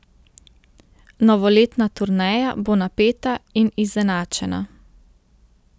Novoletna turneja bo napeta in izenačena.